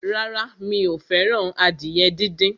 Rárá, mi ò fẹ́ràn adìyẹ díndín.